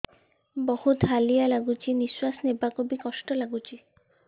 ବହୁତ୍ ହାଲିଆ ଲାଗୁଚି ନିଃଶ୍ବାସ ନେବାକୁ ଵି କଷ୍ଟ ଲାଗୁଚି